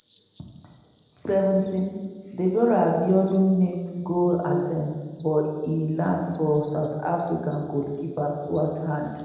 17' deborah abiodun make goal attempt but e land for south afrtica goalkeeper swart hand.